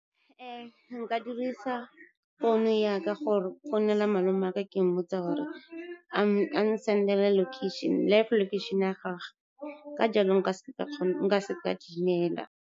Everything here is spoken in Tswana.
Nka dirisa founu ya ka go founela malome waka, ke mmotsa gore a n-send-ele live location ya gage, ka jalo nka seka ka timela.